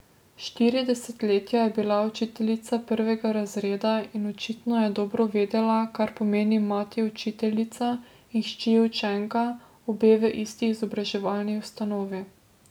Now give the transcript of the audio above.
Štiri desetletja je bila učiteljica prvega razreda in očitno je dobro vedela, kaj pomeni mati učiteljica in hči učenka, obe v isti izobraževalni ustanovi.